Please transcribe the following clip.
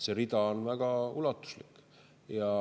See rida on väga ulatuslik.